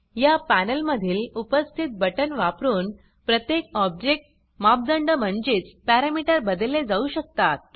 या पॅनेलमधील उपस्थित बटन वापरून प्रत्येक ऑब्जेक्ट मापदंड म्हणजेच पॅरमीटर बदलले जाऊ शकतात